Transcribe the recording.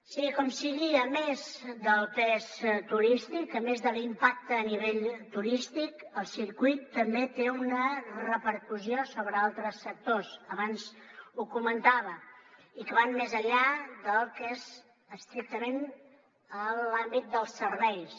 sigui com sigui a més del pes turístic a més de l’impacte a nivell turístic el circuit també té una repercussió sobre altres sectors abans ho comentava i que van més enllà del que és estrictament l’àmbit dels serveis